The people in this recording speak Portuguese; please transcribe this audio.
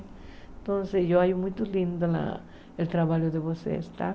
Então assim, eu acho muito lindo a o trabalho de vocês, tá?